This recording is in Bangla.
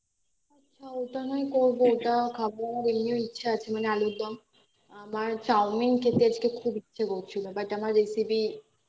আচ্ছা ওটা নয় করবো ওটা খাবো এমনি ইচ্ছা আছে মানে আলুরদম আমার চাউমিন খেতে আজকে খুব ইচ্ছে করছিল but আমার recipe